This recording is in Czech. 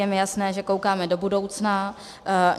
Je mi jasné, že koukáme do budoucna.